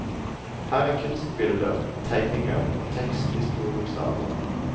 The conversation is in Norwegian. Her er kunstbilder, tegninger og tekst i store bokstaver.